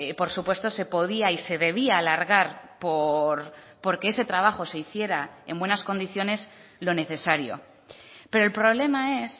por supuesto se podía y se debía alargar porque ese trabajo se hiciera en buenas condiciones lo necesario pero el problema es